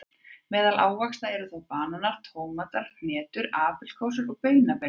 Meðal ávaxta eru þá bananar, tómatar, hnetur, apríkósur og baunabelgir.